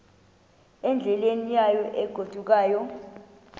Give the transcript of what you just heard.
endleleni yayo egodukayo